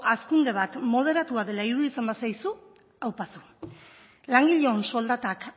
hazkunde bat moderatua dela iruditzen bazaizu aupa zu langileon soldatak